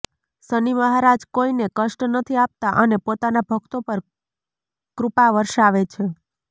શનિ મહારાજ કોઈને કષ્ટ નથી આપતા અને પોતાના ભક્તો પર કૃપા વરસાવે છે